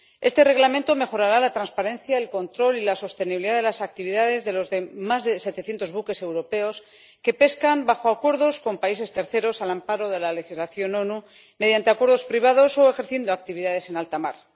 Este Reglamento mejorará la transparencia, el control y la sostenibilidad de las actividades de los más de setecientos buques europeos que pescan bajo acuerdos con países terceros, al amparo de la legislación de las Naciones Unidas, mediante acuerdos privados o ejerciendo actividades en alta mar.